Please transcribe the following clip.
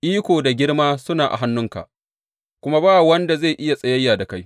Iko da girma suna a hannunka, kuma ba wanda zai iya tsayayya da kai.